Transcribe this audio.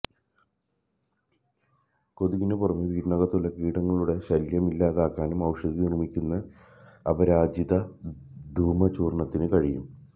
കൊതുകിന് പുറമേ വീടിനകത്തുള്ള കീടങ്ങളുടെ ശല്യം ഇല്ലാതാക്കാനും ഔഷധി നിര്മ്മിക്കുന്ന അപരാജിത ധൂമചൂര്ണത്തിന് കഴിയും